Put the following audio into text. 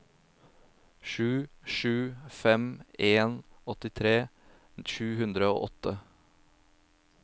sju sju fem en åttitre sju hundre og åtte